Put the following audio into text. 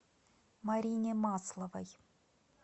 марине масловой